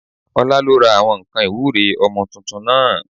Ọlá ló ra àwọn nǹkan ìwúre ọmọ tuntun náà